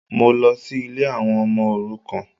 Mọ lọ sí ilé àwọn ọmọ òrukàn